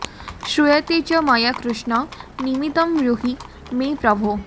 श्रूयते च मया कृष्ण निमित्तं ब्रूहि मे प्रभो